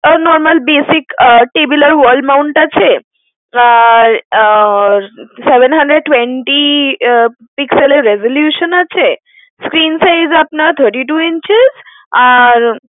আর normal basic table আর wall mount আছে, আর আর seven hundred twenty pixel এর resolution আছে, screen size আপনার thirty-two inches আর।